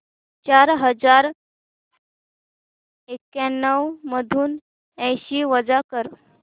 चार हजार एक्याण्णव मधून ऐंशी वजा कर